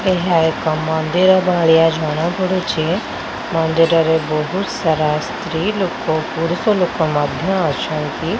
ଏହା ଏକ ମନ୍ଦିର ଭଳିଆ ଜଣା ପଡୁଛି ମନ୍ଦିରରେ ବହୁତ୍ ସାରା ସ୍ତ୍ରୀ ଲୋକ ପୁରୁଷ ଲୋକ ମଧ୍ୟ ଅଛନ୍ତି।